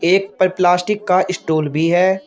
एक पर प्लास्टिक का स्टूल भी है।